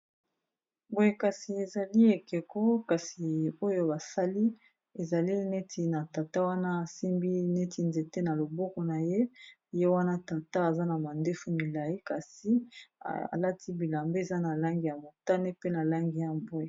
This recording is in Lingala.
Boye kasi ezali ekeko kasi oyo basali ezali neti na tata wana asimbi neti nzete na loboko na ye ye wana tata aza na mandefu milai kasi alati bilamba eza na langi ya motane pe na langi ya mbwe.